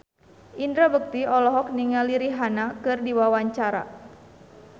Indra Bekti olohok ningali Rihanna keur diwawancara